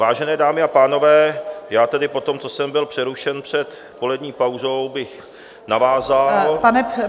Vážené dámy a pánové, já tedy po tom, co jsem byl přerušen před polední pauzou, bych navázal...